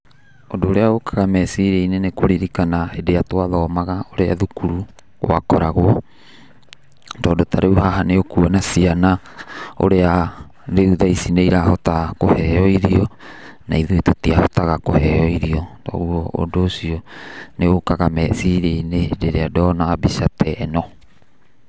Ũndũ ũrĩa ũkaga meciria-inĩ nĩ kũririkana hĩndĩ ĩrĩa twa thomaga, ũrĩa thukuru gwakoragwo, tondũ ta rĩu haha nĩ ũkuona ciana ũrĩa rĩu tha ici nĩ ĩrahota kũheo ĩrio na ithuĩ tũtiahotaga kũheo ĩrio, koguo ũndũ ũcio nĩ ũkaga meciria-inĩ rĩrĩa ndona mbica ta ĩ no.